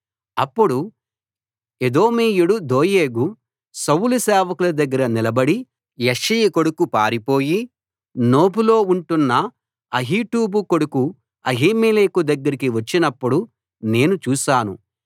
అప్పుడు ఎదోమీయుడు దోయేగు సౌలు సేవకుల దగ్గర నిలబడి యెష్షయి కొడుకు పారిపోయి నోబులో ఉంటున్న అహీటూబు కొడుకు అహీమెలెకు దగ్గరికి వచ్చినప్పుడు నేను చూశాను